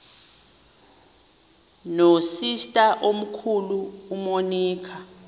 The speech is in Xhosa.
nosister omkhulu umonica